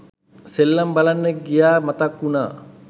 සෙල්ලම් බලන්න ගියා මතක් වුනා.